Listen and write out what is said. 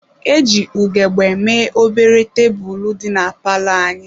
E ji ugegbe mee obere tebụl dị na palọ anyị.